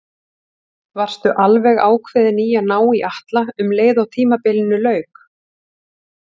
Varstu alveg ákveðinn í að ná í Atla um leið og tímabilinu lauk?